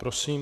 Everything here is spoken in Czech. Prosím.